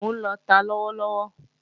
Mò ń lọta lọ́wọ́ lọ́wọ́